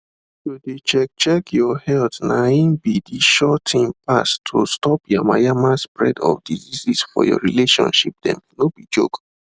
to de check check your health na him be de sure thing pass to stop yamayama spread of diseases for your relationship themno be joke